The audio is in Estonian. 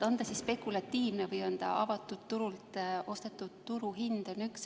On see siis spekulatiivne hind või on see avatud turul olev turuhind?